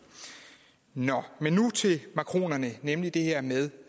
nå men nu til makronerne nemlig det her med